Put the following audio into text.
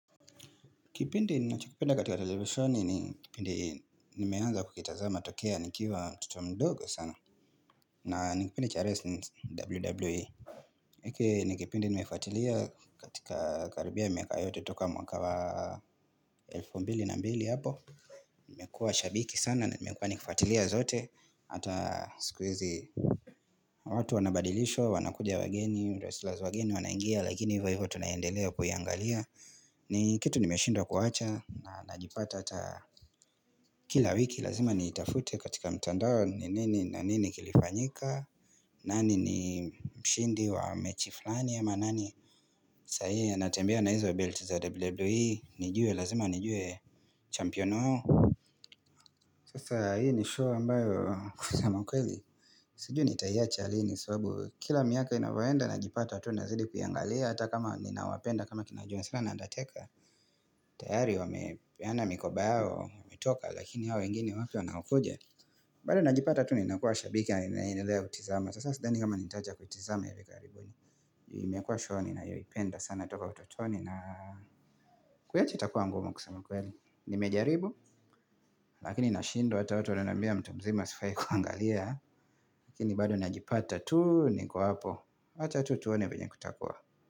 Kipindi ninachokipenda katika televisheni ni kipindi nimeanza kuitazama tokea nikiwa tokea nikiwa mdogo sana na nikipindi cha wrestling wwe Iki nikipindi nimefatilia katika karibia miaka yote toka mwaka wa elfo mbili na mbili hapo nimekua shabiki sana na nimekua nikfatilia zote hata siku hizi watu wanabadilishwa wanakuja wageni wrestlers wageni wanaingia lakini hivyo hivyo tunaendelea kuyaaangalia ni kitu nimeshindwa kuwacha na najipata ata kila wiki lazima niitafute katika mtandao ni nini na nini kilifanyika nani ni mshindi wa mechi flani ama nani saa hii anatembea na hizo belt za WWE nijue lazima, nijue champion wao Sasa hii ni show ambayo kusema ukweli Siju nitahiacha lini sababu Kila miaka inavyoenda najipata tu nazidi kuyangalia Hata kama ninawapenda kama kina John cena na undertaker tayari wamepeana mikoba yao wame toka lakini hao wengini wapo na wanakuja bado najipata tu ni nakuwa shabiki ya ninaendelea kutizama sasa sidani kama nitacha kuitizama hivi karibu imekua show ninayoipenda sana toka utotoni na kuyaacha itakua ngumu kusema ukweli nimejaribu lakini nashindwa hata watu wananambia mtu mzima sifai kuangalia lakini bado najipata tu niko hapo wacha tu tuone venye kutakua.